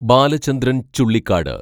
Balachandran‍ Chullikkad